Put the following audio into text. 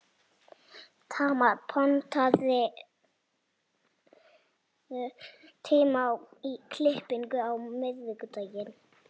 Tamara, pantaðu tíma í klippingu á miðvikudaginn.